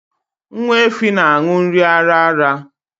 Nwa efi na-an̄ụ nri ara ara